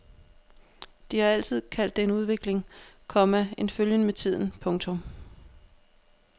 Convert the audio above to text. De har altid kaldt det udvikling, komma en følgen med tiden. punktum